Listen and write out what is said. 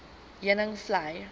heuningvlei